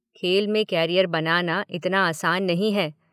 खेल में कॅरियर बनाना इतना आसान नहीं है।